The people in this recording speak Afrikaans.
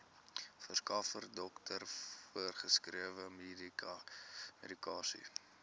verskaffer dokter voorgeskrewemedikasie